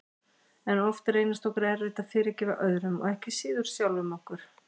En oft reynist okkur erfitt að fyrirgefa öðrum og ekki síður sjálfum okkur.